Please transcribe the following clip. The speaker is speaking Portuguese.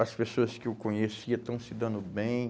As pessoas que eu conhecia estão se dando bem.